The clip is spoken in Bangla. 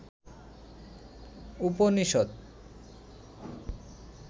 উপনিষদ